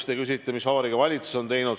Te küsite, mis Vabariigi Valitsus on teinud.